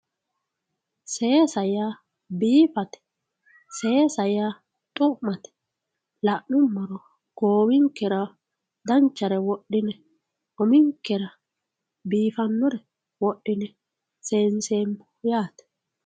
seesa yaa biifate seesa ya xu'mate la'nummoro goowinkera danchare uminkera biifannore wodhine seenseemmo yaate